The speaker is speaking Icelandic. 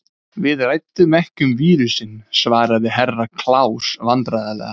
Við ræddum ekki um vírusinn, svarði Herra Kláus vandræðalega.